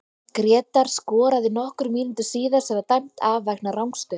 Grétar skoraði nokkrum mínútum síðar sem var dæmt af vegna rangstöðu.